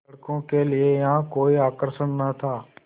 लड़कों के लिए यहाँ कोई आकर्षण न था